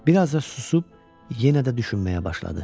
Bir az da susub, yenə də düşünməyə başladı.